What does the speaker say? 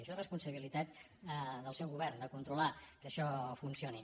això és responsabilitat del seu govern de controlar que això funcioni